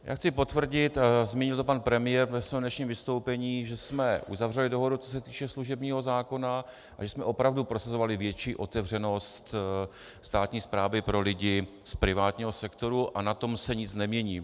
Já chci potvrdit, zmínil to pan premiér ve svém dnešním vystoupení, že jsme uzavřeli dohodu, co se týče služebního zákona, a že jsme opravdu prosazovali větší otevřenost státní správy pro lidi z privátního sektoru, a na tom se nic nemění.